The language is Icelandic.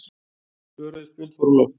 Tvö rauð spjöld fóru á loft.